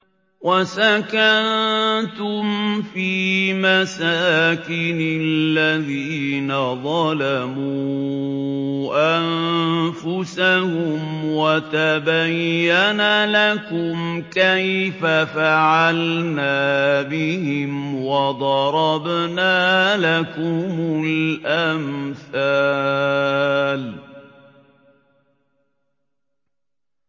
وَسَكَنتُمْ فِي مَسَاكِنِ الَّذِينَ ظَلَمُوا أَنفُسَهُمْ وَتَبَيَّنَ لَكُمْ كَيْفَ فَعَلْنَا بِهِمْ وَضَرَبْنَا لَكُمُ الْأَمْثَالَ